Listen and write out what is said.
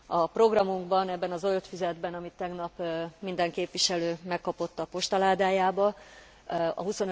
A programunkban, ebben a zöld füzetben, amit tegnap minden képviselő megkapott a postaládájába, a